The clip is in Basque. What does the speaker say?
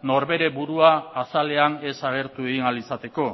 norbere burua azalean ez agertu egin ahal izateko